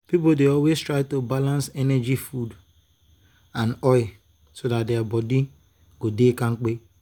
people dey always try to balance energy food and oil so dat their body go dey kampe.